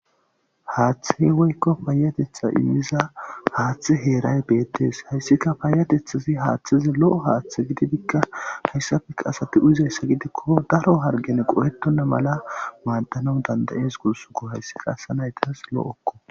Haaththei woykko payatetha iyiza haaththe heeray beettees hayssika paayatethasi haaththize lo7o haaththe gididikka hayssafeka asati uzeyssa gidikko daro hargene qo7etonna mala maaddanon dandayees gursuko hayssika asanaytas lo7okko.